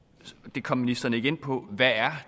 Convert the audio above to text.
det kom ministeren ikke ind på om hvad